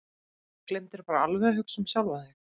Gleymdirðu bara alveg að hugsa um sjálfan þig?